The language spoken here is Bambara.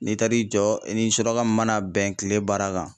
N'i taar'i jɔ i ni suraka mun mana bɛn kile baara kan